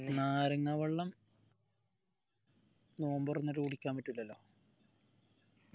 നാരങ്ങ വെള്ളം നോമ്പ് തുറന്നിട്ട് കുടിക്കാൻ പറ്റില്ലല്ലോ